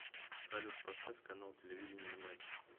салют поставь канал телевидения матч